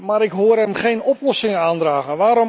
Maar ik hoor hem geen oplossingen aandragen.